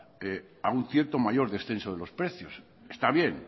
a un cierto mayor descenso de los precios está bien